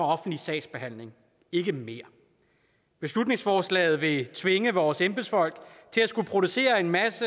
offentlig sagsbehandling ikke mere beslutningsforslaget vil tvinge vores embedsfolk til at skulle producere en masse